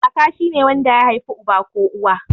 Kaka shine wanda ya haifi uba ko uwa.